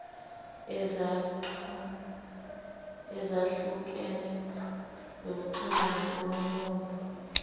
ezahlukene zokuxhumana ngomlomo